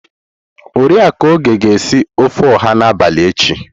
Oriakụ Oge ga-esi ofe oha n'abalị echi.